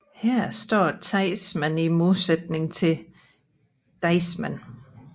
Her står teismen i modsætning til deismen